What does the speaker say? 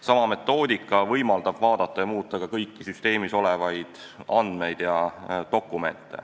Sama metoodika võimaldab vaadata ja muuta kõiki süsteemis olevaid dokumente ja üldse andmeid.